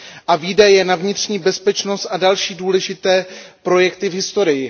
a výdaje na vnitřní bezpečnost a další důležité projekty v historii.